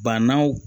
Bananw